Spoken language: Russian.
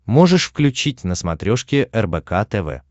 можешь включить на смотрешке рбк тв